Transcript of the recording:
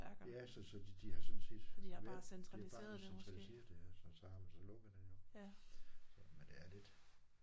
Ja så så de de har sådan set ja det er bare blevet centraliseret ja og så har man så lukket det jo. Så men det er lidt